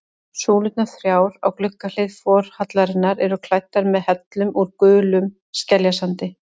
Súlurnar þrjár á gluggahlið forhallarinnar eru klæddar með hellum úr gulum skeljasandi.